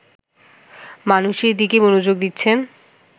মানুষের দিকেই মনোযোগ দিচ্ছেন